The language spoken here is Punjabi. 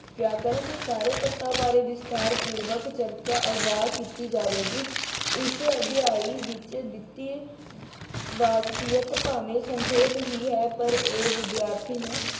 ਵਿਆਕਰਨ ਦੇ ਸਾਰੇ ਤੱਥਾਂ ਬਾਰੇ ਵਿਸਥਾਰਪੂਰਵਕ ਚਰਚਾ ਅਗਾਂਹ ਕੀਤੀ ਜਾਵੇਗੀ। ਇਸ ਅਧਿਆਏ ਵਿੱਚ ਦਿੱਤੀ ਵਾਕਫ਼ੀਅਤ ਭਾਵੇਂ ਸੰਖੇਪ ਹੀ ਹੈ ਪਰ ਇਹ ਵਿਦਿਆਰਥੀ ਨੂੰ